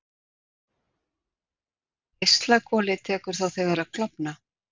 Geislakolið tekur þá þegar að klofna.